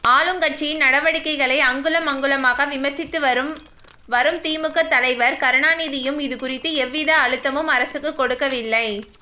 ஆளுங்கட்சியின் நடவடிக்கைகளை அங்குலம் அங்குலமாக விமர்சித்து வரும் வரும் திமுக தலைவர் கருணாநிதியும் இதுகுறித்து எவ்வித அழுத்தமும் அரசுக்கு கொடுக்கவில்லை